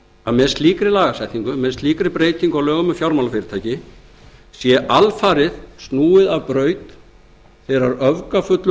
að með slíkri lagasetningu með slíkri breytingu á lögum um fjármálafyrirtæki sé alfarið snúið af braut þeirrar öfgafullu